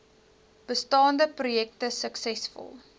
bestaande projekte suksesvol